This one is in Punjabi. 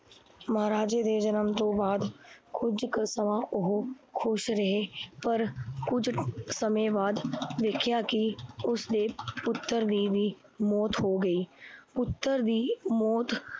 ਮਹਾਰਾਜੇ ਦੇ ਜਨਮ ਤੋਂ ਬਾਦ ਕੁਝ ਸਮਾਂ ਓਹੋ ਖੁਸ਼ ਰਹੇ ਪਰ ਕੁਝ ਸਮੇ ਬਾਦ ਵੇਖਿਆ ਕਿ ਉਸ ਦੇ ਪੁੱਤਰ ਦੀ ਵੀ ਮੌਤ ਹੋ ਗਈ ਪੁੱਤਰ ਦੀ ਮੌਤ